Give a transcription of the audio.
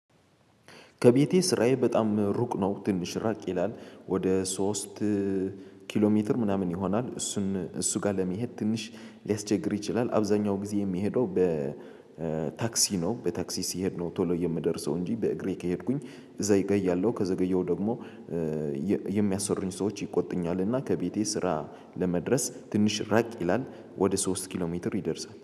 ከቤቴ ስራዬ በጣም ሩቅ ነው ትንሽ ራቅ ይላል። ወደ ሶስት ኪሎ ሜትር ምናምን ይሆናል። እሱን እሱ ጋር ለመሄድ ትንሽ ሊያስቸግር ይችላል። አብዛኛው ጊዜ የሚሄደው በ ታክሲ ነው በታክሲ ሲሄድ ነው። ቶሎ የምደርሰው እንጂ በእግሬ ከሄድኩኝ እዘገያለው ያለው ከዘገየው ደግሞ ሰዎች ይቆጡኛልና። ከቤቴ ስራ ለመድረስ ትንሽ ራቅ ይላል። ወደ ሶስት ኪሎ ሜትር ይደርሳል